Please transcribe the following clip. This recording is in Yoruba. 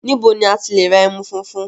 Níbo ni à ti le ra ẹmú fúnfún?